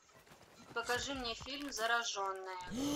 покажи мне фильм зараженная